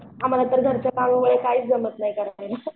आम्हाला तर घरच्या पार्लरचं काहीच जमत नाही करायला.